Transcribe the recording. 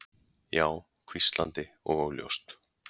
Já. hvíslandi og óljóst.